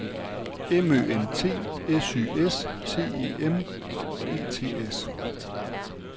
M Ø N T S Y S T E M E T S